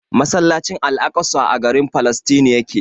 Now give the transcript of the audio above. Masallacin al'aƙsa a garin Falasɗinu yake.